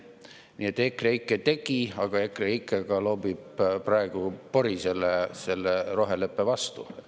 Nii et EKREIKE tegi, aga EKREIKE loobib praegu ka pori selle roheleppe pihta.